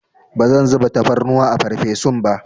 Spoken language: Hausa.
Bazan zuba tafarnuwa a farfesun ba.